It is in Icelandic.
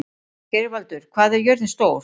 Geirvaldur, hvað er jörðin stór?